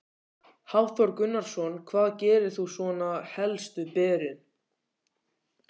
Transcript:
Hafþór Gunnarsson: Hvað gerir þú svona helst við berin?